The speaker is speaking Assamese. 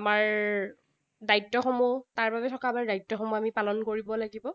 আমাৰ দায়িত্বসমূহ, তাৰ বাবে থকা আমাৰ দায়িত্বসমূহ আমি পালন কৰিব লাগিব।